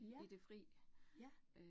Ja, ja